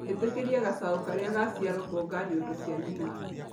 ĩtĩkĩria gacaũ karĩa gaciarwo kwonga nyondo cia nyina.